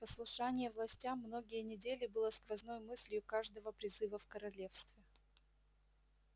послушание властям многие недели было сквозной мыслью каждого призыва в королевстве